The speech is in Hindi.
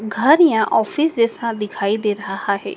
घर या ऑफिस जैसा दिखाई दे रहा है।